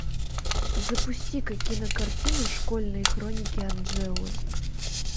запусти ка кинокартину школьные хроники анжелы